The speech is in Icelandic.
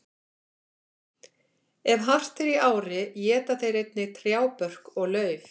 Ef hart er í ári éta þeir einnig trjábörk og lauf.